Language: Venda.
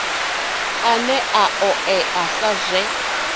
ane a oea sa zwe